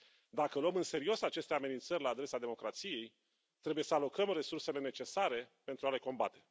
Dacă luăm în serios aceste amenințări la adresa democrației, trebuie să alocăm resursele necesare pentru a le combate.